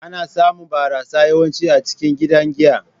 Ana samun barasa yawanci a cikin gidan giya.